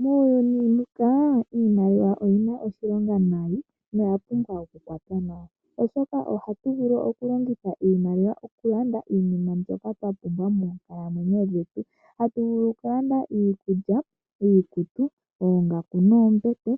Muuyuni muka iimaliwa oyina oshilonga nayi noya pumbwa oku kwatwa nawa oshoka ohatu vulu oku longitha iimaliwa oku landa iinima mbyoka twa pumbwa moonkalamwenyo dhetu. Hatu vulu oku landa iikulya, iikutu, oongaku noombete